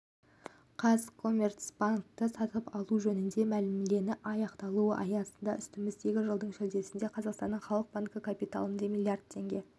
қазкоммерцбанкті сатып алу жөнінде мәміленің аяқталуы аясында үстіміздегі жылдың шілдесінде қазақстанның халық банкі капиталына миллиард теңге